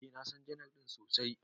Eh, na San janar din sosai.